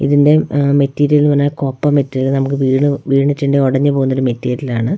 ഇതിന്റെ അ മെറ്റീരിയൽ ന്ന് പറഞ്ഞാൽ കോപ്പർ മെറ്റീരിയൽ ആണ് നമുക്ക് വീണ് വീണിട്ടുണ്ടെ ഒടഞ്ഞ് പോകുന്ന മെറ്റീരിയൽ ആണ്.